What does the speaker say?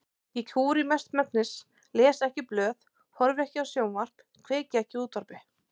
Ég kúri mestmegnis, les ekki blöð, horfi ekki á sjónvarp, kveiki ekki á útvarpi.